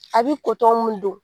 A bi kotɔn mun don